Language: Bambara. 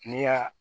Ne y'a